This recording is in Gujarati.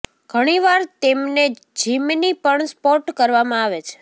ઘણીવાર તેમને જિમની પણ સ્પોટ કરવામાં આવે છે